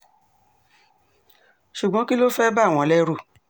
ṣùgbọ́n kí ló fẹ́ẹ́ bà wọ́n lẹ́rù